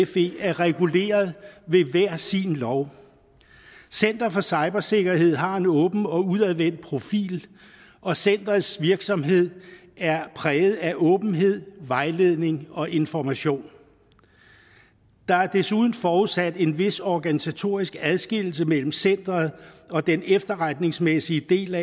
fe er reguleret ved hver sin lov center for cybersikkerhed har en åben og udadvendt profil og centerets virksomhed er præget af åbenhed vejledning og information der er desuden forudsat en vis organisatorisk adskillelse mellem centeret og den efterretningsmæssige del